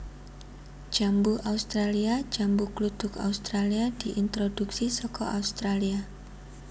Jambu australia Jambu kluthuk Australia diintroduksi saka Australia